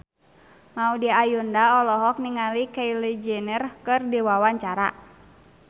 Maudy Ayunda olohok ningali Kylie Jenner keur diwawancara